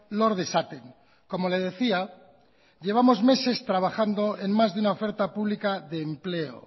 lor dezaten como le decía llevamos meses trabajando en más de una oferta pública de empleo